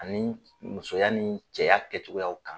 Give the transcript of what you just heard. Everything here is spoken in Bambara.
Ani musoya ni cɛya kɛcogoyaw kan